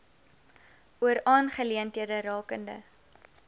oor aangeleenthede rakende